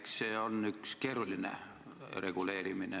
Eks see ole üks keeruline reguleerimine.